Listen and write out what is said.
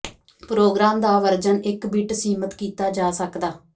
programme ਦਾ version ਇੱਕ bit ਸੀਮਿਤ ਕੀਤਾ ਜਾ ਸਕਦਾ